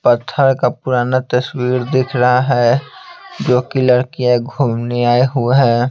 पत्थर का पुराना तस्वीर दिख रहा है जो कि लड़कियाँ घूमने आए हुए है।